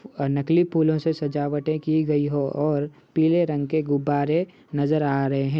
फ् अ नकली पुलों से सजावटें की गई हो और पीले रंग के गुब्बारे नज़र आ रहे हैं --